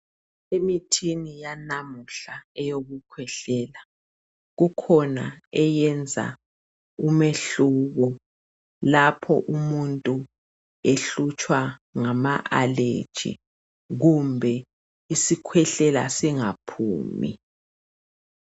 Emithini yanamuhla eyokukhwehlela kukhona eyenza umehluko lapho umuntu ehlutshwa ngama "allergy" kumbe isikhwehlela singaphumi.